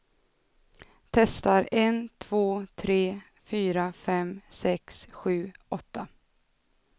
Testar en två tre fyra fem sex sju åtta.